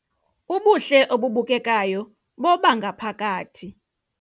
Ubuhle obubukekayo bobangaphakathi